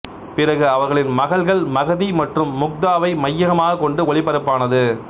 பிறகு அவர்களின் மகள்கள் மகதி மற்றும் முக்தாவை மையமாகக் கொண்டு ஒளிபரப்பானது